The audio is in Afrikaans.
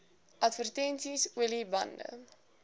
advertensies olie bande